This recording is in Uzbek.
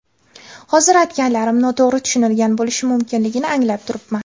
Hozir aytganlarim noto‘g‘ri tushunilgan bo‘lishi mumkinligini anglab turibman.